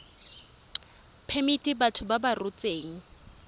phemiti batho ba ba rotseng